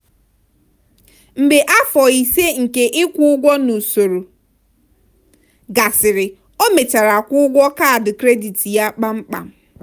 mgbe afọ ise nke ịkwụ ụgwọ n'usoro gasịrị o mechara kwụọ ụgwọ kaadị kredit ya kpamkpam.